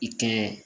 I kɛ